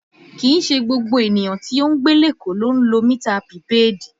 Kìí ṣe gbogbo ènìyàn tí ń gbé lékòó ló ń lo mità pìpèéèdì